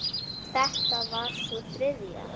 Þetta var sú þriðja.